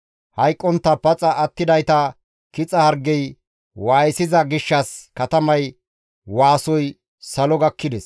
Hayqqontta paxa attidayta kixa hargey waayisiza gishshas katamay waasoy salo gakkides.